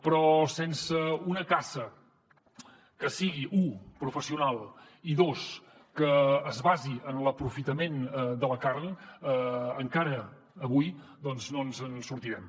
però sense una caça que sigui u professional i dos que es basi en l’aprofitament de la carn encara avui no ens en sortirem